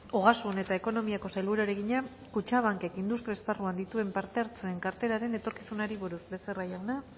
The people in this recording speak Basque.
ogasun eta ekonomiako sailburuari egina kutxabankek industria esparruan dituen parte hartzeen karteraren etorkizunari buruz becerra jauna